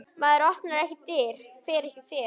Maður opnar ekki dyr, fer ekki fet.